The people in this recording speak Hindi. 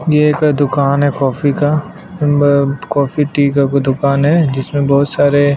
ये जो दूकान है कॉफ़ी का उनमें कॉफ़ी टी कोई दूकान है जिसमें बहोत सारे --